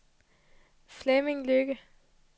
Flemming Lykke